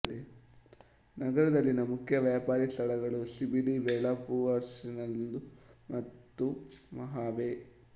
ನಗರದಲ್ಲಿನ ಮುಖ್ಯ ವ್ಯಾಪಾರಿ ಸ್ಥಳಗಳು ಸಿಬಿಡಿ ಬೆಲಾಪೂರ್ವಾಶಿನೆರೂಲ್ ಮತ್ತು ಮಹಾಪೆ